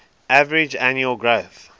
average annual growth